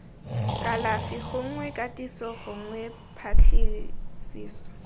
kalafi gongwe katiso gongwe patlisiso